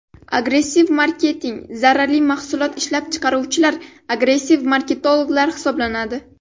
Agressiv marketing Zararli mahsulot ishlab chiqaruvchilar agressiv marketologlar hisoblanadi.